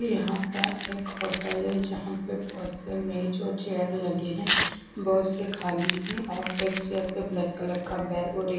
यहाँ पर एक होटल है जहा पर में जो चेयर लगे है बोहोत से खाली है और एक चेयर पे ब्लैक कलर का बैग और एक--